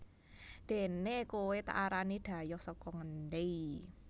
déné kowé tak arani dhayoh saka ngendi